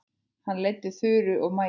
Hann leiddi Þuru og Maju.